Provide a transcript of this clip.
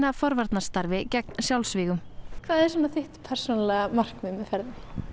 forvarnarstarfi gegn sjálfsvígum hvað er svona þitt persónulega markmið með ferðinni